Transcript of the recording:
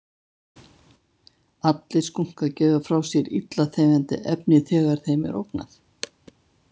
Allir skunkar gefa frá sér illa þefjandi efni þegar þeim er ógnað.